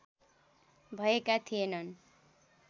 भएका थिएनन्।